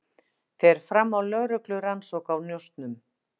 Fer fram á lögreglurannsókn á njósnum